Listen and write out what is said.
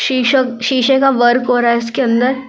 शीश शीशे का वर्क हो रहा है इसके अंदर।